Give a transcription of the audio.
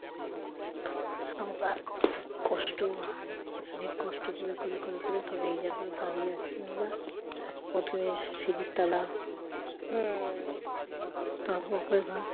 সংসার কষ্ট অনেক কষ্ট করে করে করে করে তবে এই জায়গায় দাঁড়িয়ে আছি আমরা প্রথমে সিড়ির তলা তারপর উপরের ঘর